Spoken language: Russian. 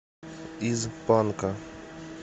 из банка